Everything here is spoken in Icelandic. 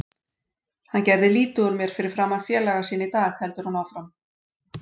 Hann gerði lítið úr mér fyrir framan félaga sína í dag, heldur hún áfram.